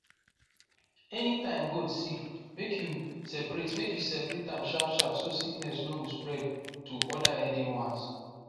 anytime goat sick make you separate make you separate am sharpsharp so sickness no go spread to other healthy ones